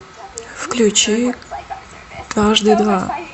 включи дважды два